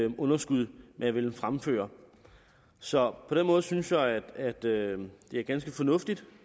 underskud man vil fremføre så på den måde synes jeg at det er ganske fornuftigt